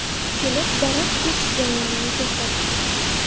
Kelib, daraxt kesish jarayonini to‘xtatdik.